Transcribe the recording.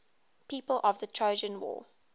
people of the trojan war